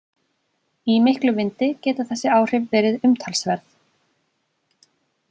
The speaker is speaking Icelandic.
Í miklum vindi geta þessi áhrif verið umtalsverð.